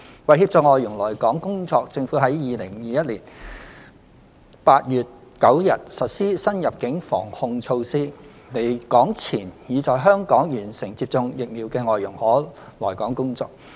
為協助外傭來港工作，政府於2021年8月9日實施新入境防控措施，離港前已在香港完成接種疫苗的外傭可來港工作。